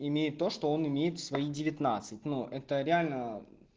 имеет то что он имеет в свои девятнадцать но это реально